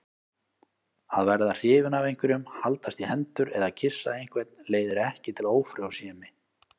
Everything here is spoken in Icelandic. Að verða hrifinn af einhverjum, haldast í hendur eða kyssa einhvern leiðir ekki til ófrjósemi.